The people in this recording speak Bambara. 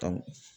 Ka